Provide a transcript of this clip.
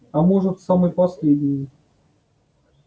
а может самый последний